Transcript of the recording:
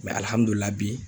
bi